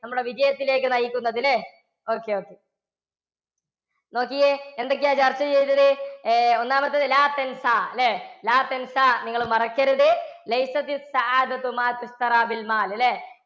നമ്മളെ വിജയത്തിലേക്ക് നയിക്കുന്നത ല്ലേ okay okay നോക്കിക്കേ എന്തൊക്കെയാ ചർച്ച ചെയ്തത്? ഏർ ഒന്നാമത്തേത് നിങ്ങൾ മറക്കരുത് അല്ലേ